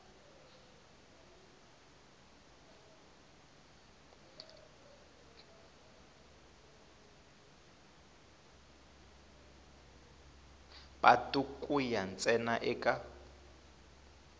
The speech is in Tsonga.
patu ku ya ntsena eka